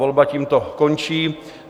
Volba tímto končí.